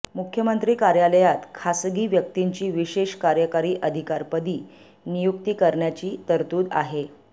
मुख्यमंत्री कार्यालयात खासगी व्यक्तींची विशेष कार्यकारी अधिकारीपदी नियुक्ती करण्याची तरतूद आहे